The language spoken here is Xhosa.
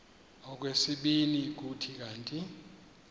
okwesibini kuthi kanti